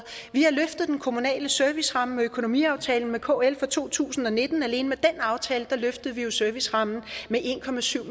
vi har løftet den kommunale serviceramme med økonomiaftalen med kl for to tusind og nitten og alene med den aftale løftede vi servicerammen med en